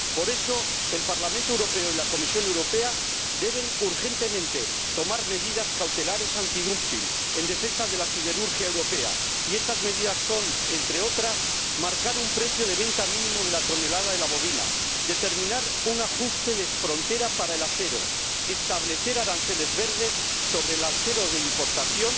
Por eso, el Parlamento Europeo y la Comisión Europea deben urgentemente tomar medidas cautelares antidumping en defensa de la siderurgia europea, y estas medidas son, entre otras, marcar un precio de venta mínimo de la tonelada de la bobina, determinar un ajuste de frontera para el acero, establecer aranceles verdes sobre el acero de importación